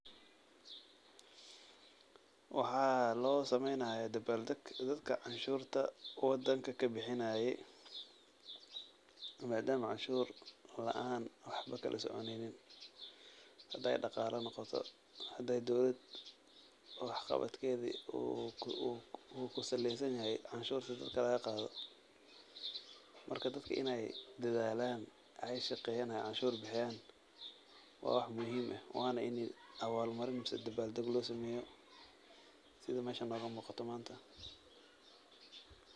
Waxaa loo sameyni haaya dabaal dag dadka cashuurta kuwa dalka kabixinaayo, maadama cashuur laan waxba kala soconeynin, hadaay daqaala noqoto, hadaay dowlada wax qabadkeeda uu kusaleysan yahay dadka in cashuur laga qaado, marka dadka waa inaay dadaalaan, aay shaqeyaan, aay cashuurta bixiyaan, waa wax muhiim ah, waana in abaal marin ama dabaal dag loo sameeyo, sida meeshan nooga muuqato maanta.